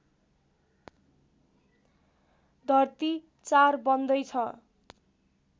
धर्ती ४ बन्दैछ